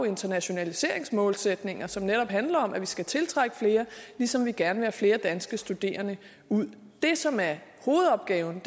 internationaliseringsmålsætninger som netop handler om at vi skal tiltrække flere ligesom vi gerne vil have flere danske studerende ud det som er hovedopgaven